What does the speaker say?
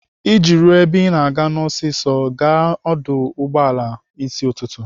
Iji ruo ebe Ị na-aga ọsịsọ, gaa n'ọdụ ụgbọala n'ịsị ụtụtụ.